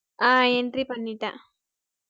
ஆஹ் entry பண்ணிட்டேன்